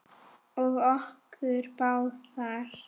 Og okkur báðar.